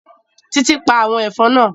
Títí pa àwọn ẹ̀fọn náà